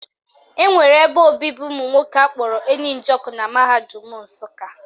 Enwere ebe obibi ụmụnwoke akpọrọ Eni Njoku na mahadum Nsụka